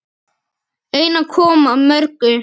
Einar kom að mörgu.